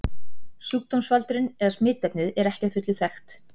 Sjúkdómsvaldurinn eða smitefnið er ekki að fullu þekkt.